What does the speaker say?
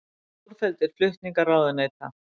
Stórfelldir flutningar ráðuneyta